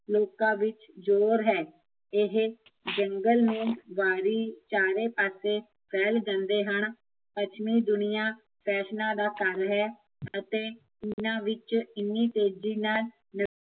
ਲੋਕਾਂ ਵਿੱਚ ਜ਼ੋਰ ਹੈ ਇਹ ਜੰਗਲ ਨੂੰ ਵਾਰੀ, ਚਾਰੇ ਪਾਸੇ ਫੈਲ ਜਾਂਦੇ ਹਨ ਪੱਛਮੀ ਦੁਨੀਆ ਫੈਸ਼ਨਾ ਦਾ ਘਰ ਹੈ ਅਤੇ ਇਹਨਾਂ ਵਿੱਚ ਇੰਨੀ ਤੇਜ਼ੀ ਨਾਲ਼